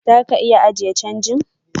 Zaka iya ajiye change.